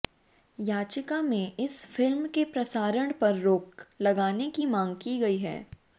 याचिका में इस फिल्म के प्रसारण पर रोक लगाने की मांग की गई है